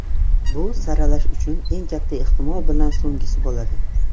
Bu saralash uning uchun katta ehtimol bilan so‘nggisi bo‘ladi.